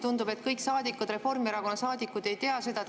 Tundub, et kõik Reformierakonna saadikud ei tea seda.